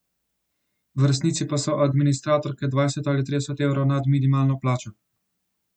V resnici pa so administratorke dvajset ali trideset evrov nad minimalno plačo.